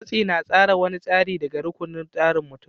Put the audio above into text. Matsi na tsara wani tasiri ne daga rukunin tsarar mutum.